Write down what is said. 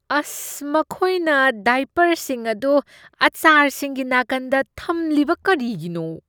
ꯃꯈꯣꯏꯅ ꯗꯥꯏꯄꯔꯁꯤꯡ ꯑꯗꯨ ꯑꯥꯆꯥꯔꯁꯤꯡꯒꯤ ꯅꯥꯀꯟꯗ ꯊꯝꯂꯤꯕ ꯀꯔꯤꯒꯤꯅꯣ?